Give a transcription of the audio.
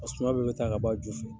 O sumaya bɛɛ bi taa ka bɔ a ju fɛ.